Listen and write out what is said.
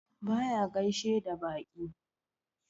Baya gaishe da baƙi.